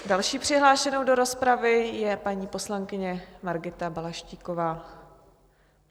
Další přihlášenou do rozpravy je paní poslankyně Margita Balaštíková.